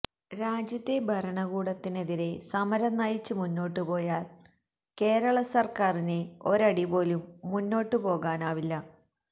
രാജ്യത്തെ ഭരണകൂടത്തിനെതിരെ സമരം നയിച്ച് മുന്നോട്ടുപോയാല് കേരള സര്ക്കാറിന് ഒരടിപോലും മുന്നോട്ടുപോകാനാവില്ല